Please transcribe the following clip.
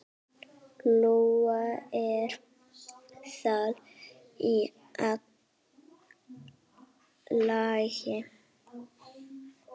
Lóa: Er það í lagi?